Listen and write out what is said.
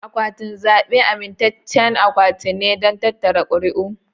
Akwatin zabe amintaccen akwati ne don tattara ƙuri'u.